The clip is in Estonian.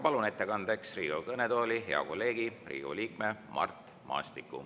Palun ettekandeks Riigikogu kõnetooli hea kolleegi, Riigikogu liikme Mart Maastiku.